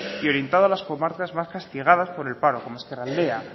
y orientado a las comarcas más castigadas por el paro como ezkerraldea